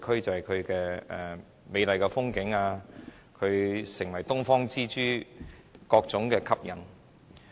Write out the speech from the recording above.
它風景美麗，成為東方之珠，有着各種吸引力。